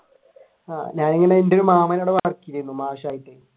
ഞാനും അന്ന് എന്റെയൊരു മാമ മാഷായിട്ട്